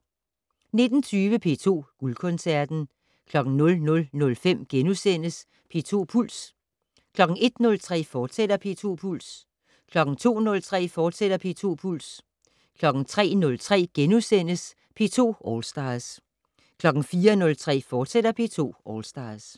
19:20: P2 Guldkoncerten 00:05: P2 Puls * 01:03: P2 Puls, fortsat 02:03: P2 Puls, fortsat 03:03: P2 All Stars * 04:03: P2 All Stars, fortsat